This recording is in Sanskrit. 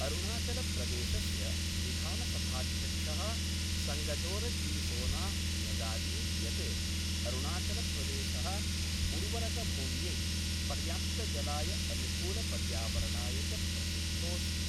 अरुणाचलप्रदेशस्य विधानसभाध्यक्ष: संगदोरजीसोना न्यगादीत् यत् अरुणाचलप्रदेश: उर्वरकभूम्यै, पर्याप्तजलाय अनुकूलपर्यावरणाय च प्रसिद्धोस्ति।